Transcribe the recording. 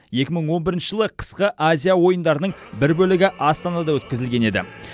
екі мың он бірінші жылы қысқы азия ойындарының бір бөлігі астанада өткізілген еді